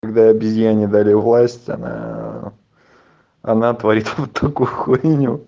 когда обезьяне дали власть она она творит вот такую хуйню